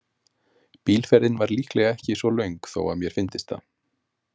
Bílferðin var líklega ekki svo löng þó að mér fyndist það.